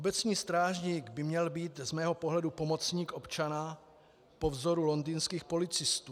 Obecní strážník by měl být z mého pohledu pomocník občana po vzoru londýnských policistů.